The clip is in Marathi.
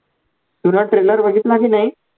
पूर्ण trailer बघितला की नाही.